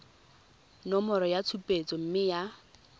nomoro ya tshupetso mme ya